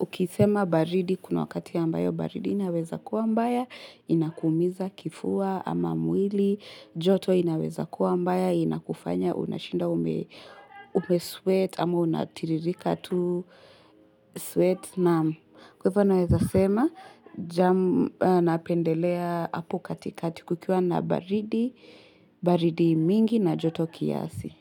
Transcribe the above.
ukisema baridi kuna wakati ambayo baridi inaweza kuwa mbaya inakuumiza kifua ama mwili. Joto inaweza kuwa mbaya, inakufanya, unashinda ume sweat, ama unatiririka tu sweat. Naam, kwa hivyo naweza sema, napendelea hapo katikati kukiwa na baridi, baridi mingi na joto kiasi.